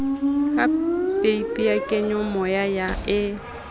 ka peipi ya kenyomoya e